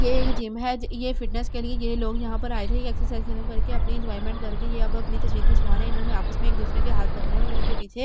ये एक जिम है ये फिटनेस के लिए ये लोग यहां पर आए थे ये एक्सरसाइज खत्म करके अपनी एंजॉयमेंट करके ये अब अपनी तस्वीर खिंचवा रहे हैं इन्होंने आपस में एक दूसरे के हाथ पकड़े और इनके पीछे --